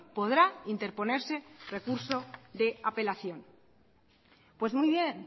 podrá interponerse recurso de apelación pues muy bien